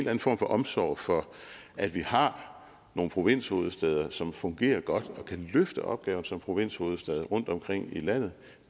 anden form for omsorg for at vi har nogle provinshovedstæder som fungerer godt og kan løfte opgaven som provinshovedstad rundtomkring i landet